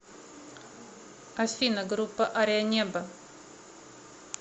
афина группа ария небо